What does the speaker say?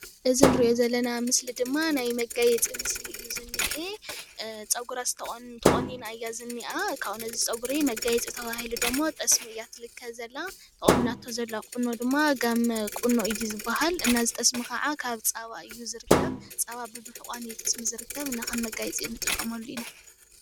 እዚ እንርእዮ ዘለና ምስሊ ድማ ናይ መጋየጺ ምስሊ እዩ ዝንሄ ፀጉራ ተቆኒና ኢያ ዝንኣ ካቡኡ ንዚ ፀጉሪ መጋየጺ ተባሂሉ ድግሞ ጥስሚ እያ ትልከ ዘላ ተቆኒናቶ ዘላ ቈኖ ድማ ጋመ ቈኖ እዩ ዝብሃል እና እዚ ጥስሚ ከዓ ካብ ፀባ እዩ ዝርከብ ፀባ ብምሕቋን እዩ ጥስሚ ዝርከብ እና ከም መጋየጺ ንጥቀመሉ ኢና።